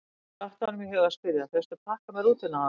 Svo datt honum í hug að spyrja: fékkstu pakka með rútunni áðan?